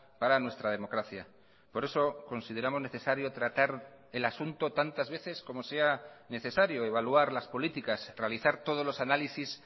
para nuestra democracia por eso consideramos necesario tratar el asunto tantas veces como sea necesario evaluar las políticas realizar todos los análisis